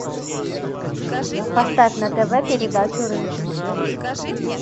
поставь на тв передачу рыжий